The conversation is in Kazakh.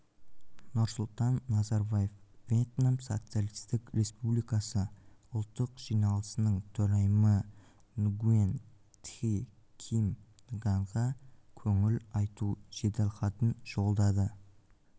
нұрсұлтан назарбаев вьетнам социалистік республикасы ұлттық жиналысының төрайымы нгуен тхи ким нганға көңіл айту жеделхатын жолдады